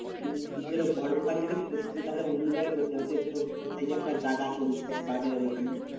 তুই ধর বড় দোকান যদি করিস তুই তাহলে অন্য জায়গায় করতে হবে। সেই তোর কোথায় যে একটা জায়গা আছে বলছিলিস বাজারের ওখানে।